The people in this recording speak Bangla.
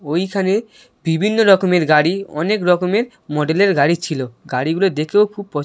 ওইখানে বিভিন্ন রকমের গাড়িঅনেক রকমের মডেল -এর গাড়ি ছিলগাড়িগুলো দেখেও খুব প --